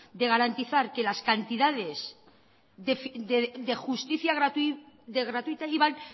garantizar que las cantidades de justicia gratuita iban